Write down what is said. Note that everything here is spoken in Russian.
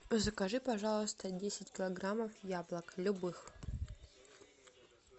закажи пожалуйста десять килограммов яблок любых